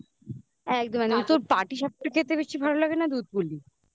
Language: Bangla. একদম মানে তোর পাটি সাপটা খেতে বেশি ভালো লাগে না দুধ পুলি